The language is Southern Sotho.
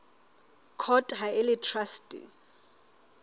court ha e le traste